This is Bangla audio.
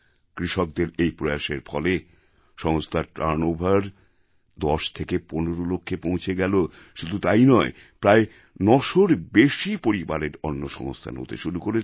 কৃষকদের এই প্রয়াসের ফলে সংস্থার টার্ন Overশুধু যে ১০ থেকে ১৫ লক্ষে পৌঁছে গেল শুধু তাই নয় একই সঙ্গে প্রায় ৯০০রও বেশি পরিবারের অন্ন সংস্থানের ব্যবস্থা হয়েছে